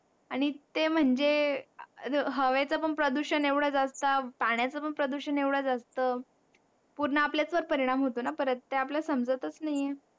आणि ते म्हणजे हवे च पण प्रदूषण एवढं जास्त पाण्याचं पण प्रदूषण एवढं जास्त पुन्हा आपल्या वरच परीणाम होतो ना परत हे आपल्याला समजतच नाही आहे